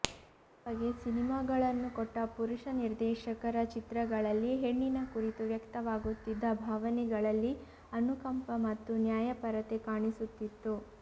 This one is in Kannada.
ಈ ಬಗೆ ಸಿನಿಮಾಗಳನ್ನು ಕೊಟ್ಟ ಪುರುಷ ನಿರ್ದೇಶಕರ ಚಿತ್ರಗಳಲ್ಲಿ ಹೆಣ್ಣಿನ ಕುರಿತು ವ್ಯಕ್ತವಾಗುತ್ತಿದ್ದ ಭಾವನೆಗಳಲ್ಲಿ ಅನುಕಂಪ ಮತ್ತು ನ್ಯಾಯಪರತೆ ಕಾಣಿಸುತ್ತಿತ್ತು